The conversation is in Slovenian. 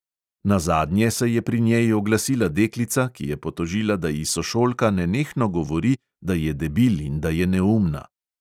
Nazadnje se je pri njej oglasila deklica, ki je potožila, da ji sošolka nenehno govori, da je debil in da je neumna.